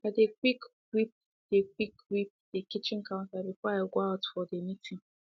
i dey quick wiped dey quick wiped dey kitchen counters before i go out for dey meeting